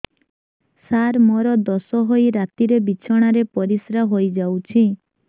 ସାର ମୋର ଦୋଷ ହୋଇ ରାତିରେ ବିଛଣାରେ ପରିସ୍ରା ହୋଇ ଯାଉଛି